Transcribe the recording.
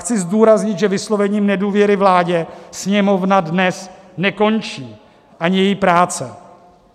Chci zdůraznit, že vyslovením nedůvěry vládě Sněmovna dnes nekončí, ani její práce.